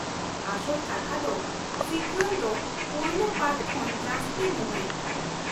ᱟᱥᱚᱞ ᱠᱟᱛᱷᱟ ᱫᱚ, ᱥᱤᱠᱩᱭᱮᱞ ᱫᱚ ᱯᱳᱭᱞᱳ ᱯᱟᱨᱴ ᱠᱷᱚᱱ ᱡᱟᱹᱥᱛᱤ ᱢᱩᱦᱤᱛ ᱾